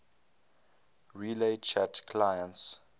relay chat clients